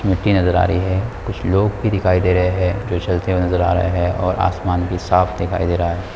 मिट्टी नज़र आ रही है कुछ लोग भी दिखाई दे रहे हैं जो चलते हुए नज़र आ रहे है और आसमान भी साफ दिखाई दे रहा है।